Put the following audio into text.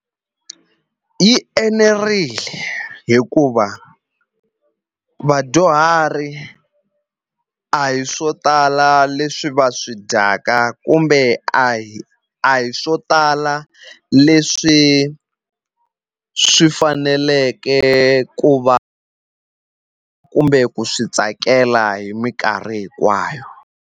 Yi enerile hikuva vadyuhari a hi swo tala leswi va swi dyaka kumbe a hi a hi swo tala leswi swi faneleke ku va kumbe ku swi tsakela hi minkarhi hinkwayo.